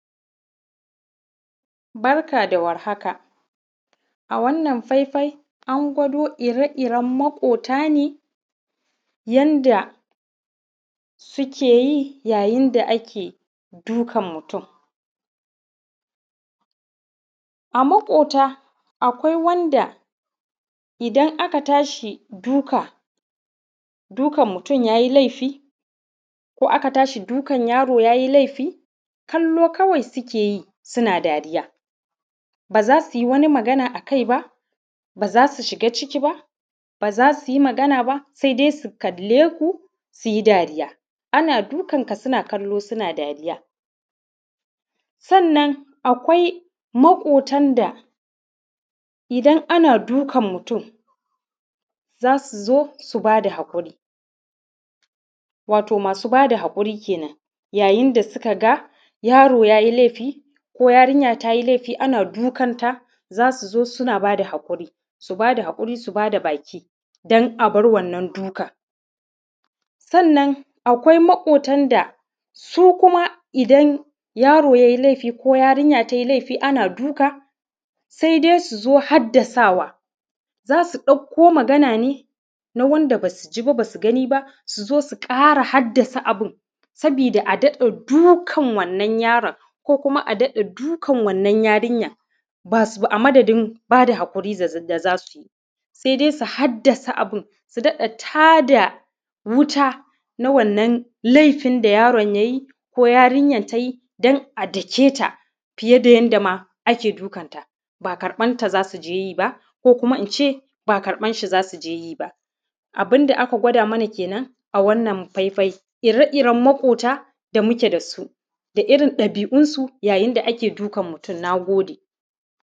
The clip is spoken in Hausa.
Barka da warhaka, a wannan faifai an gwado ire-iren maƙota ne, yanda sike yi, yayin da ake dukan mutum. A maƙota, akwai wanda idan aka tashi duka, dukan mutun ya yi laifi, ko aka tashi dukan yaro ya yi laifi, kallo kawai sike yi, suna dariya. Ba za si wani magana a kai ba, ba za si shiga ciki ba, ba za si yi magana ba, sai dai si kale ku su yi dariya, ana dukan ka suna kallo sina dariya. Sannan, akwai maƙotan da idan ana dukan mutun, za su zo su ba da haƙuri, wato masu ba da haƙuri kenan, yayin da suka ga yaro ya yi laifi ko yarinya ta yi laifi, ana dukan ta, za su zo suna ba da haƙuri, su ba da haƙuri, su ba da baki, dan a bar wannan dukan. Sannan, akwai maƙotan da su kuma idan, yaro yai laifi ko yarinya tai laifi ana duka, sai dai su zo haddasawa, za su ɗakko magana ne na wanda ba su ji, ba ba su gani ba, su zo su ƙara haddasa abin, sabida a daɗa dukan wannan yaron ko kuma a daɗa dukan wannan yarinyan. Ba su; a madadin ba da haƙuri zaz; da za su yi, se dais u haddasa abin, su daɗa ta da wuta, na wannan laifin da yaron ya yi ko yarinyan ta yi, don a dake ta fiye da yanda ma ake dukan ta. Ba karƃan ta za su je yi ba, ko kuma in ce ba karƃar shi za su je yi ba. Abin da aka gwada mana kenan, a wannan faifai, ire-iren maƙota da muke da su, da irin ɗabi’unsu yayin da ake dukan mutun, na gode.